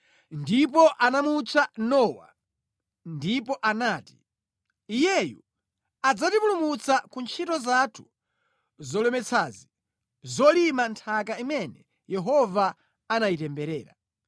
Ndipo anamutcha Nowa ndipo anati, “Iyeyu adzatipumulitsa ku ntchito zathu zolemetsazi, zolima nthaka imene Yehova anayitemberera.”